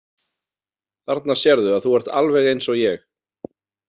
Þarna sérðu að þú ert alveg eins og ég.